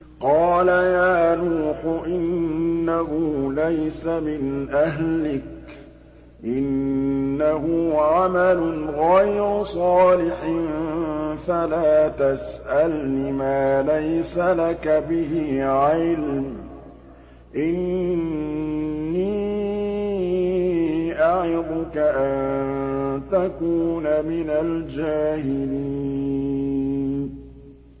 قَالَ يَا نُوحُ إِنَّهُ لَيْسَ مِنْ أَهْلِكَ ۖ إِنَّهُ عَمَلٌ غَيْرُ صَالِحٍ ۖ فَلَا تَسْأَلْنِ مَا لَيْسَ لَكَ بِهِ عِلْمٌ ۖ إِنِّي أَعِظُكَ أَن تَكُونَ مِنَ الْجَاهِلِينَ